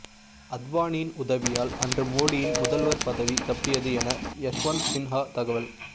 அத்வானியின் உதவியால் அன்று மோடியின் முதல்வர் பதவி தப்பியது என யஷ்வந்த் சின்ஹா தகவல்